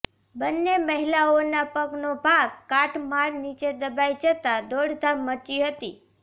બંને મહિલાઓના પગનો ભાગ કાટમાળ નીચે દબાઇ જતાં દોડધામ મચી હતી